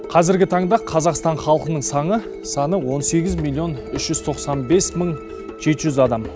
қазіргі таңда қазақстан халқының саны саны он сегіз миллион үш жүз тоқсан бес мың жеті жүз адам